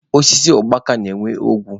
Osisi ukpaka na-enwe ogbe.